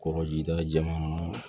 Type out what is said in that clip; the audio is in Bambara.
Kɔkɔjida jɛman